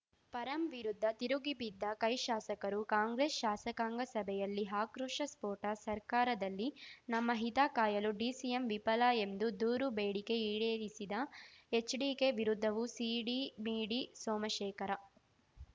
ಪರಂ ವಿರುದ್ಧ ತಿರುಗಿಬಿದ್ದ ಕೈ ಶಾಸಕರು ಕಾಂಗ್ರೆಸ್‌ ಶಾಸಕಾಂಗ ಸಭೆಯಲ್ಲಿ ಆಕ್ರೋಶ ಸ್ಫೋಟ ಸರ್ಕಾರದಲ್ಲಿ ನಮ್ಮ ಹಿತ ಕಾಯಲು ಡಿಸಿಎಂ ವಿಫಲ ಎಂದು ದೂರು ಬೇಡಿಕೆ ಈಡೇರಿಸಿದ ಎಚ್‌ಡಿಕೆ ವಿರುದ್ಧವೂ ಸೀಡಿಮೀಡಿ ಸೋಮಶೇಖರ